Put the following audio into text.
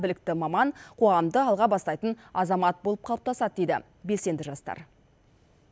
білікті маман қоғамды алға бастайтын азамат болып қалыптасады дейді белсенді жастар